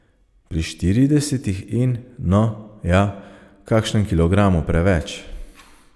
Pri štiridesetih in, no, ja, kakšnem kilogramu preveč.